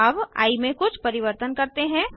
अब आई में कुछ परिवर्तन करते हैं